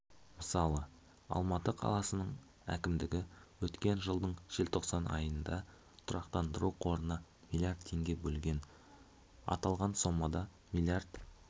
мысалы алматы қаласының әкімдігі өткен жылдың желтоқсан айында тұрақтандыру қорына млрд теңге бөлген аталған сомадан млрд